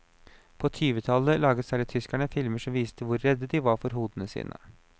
På tyvetallet laget særlig tyskerne filmer som viste hvor redde de var for hodene sine.